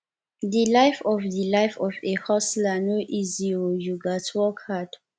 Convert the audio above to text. di life of di life of a hustler no easy o you gats work hard